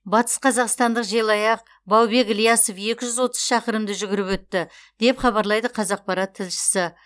батысқазақстандық желаяқ баубек ілиясов екі жүз отыз шақырымды жүгіріп өтті деп хабарлайды қазақпарат тілшісі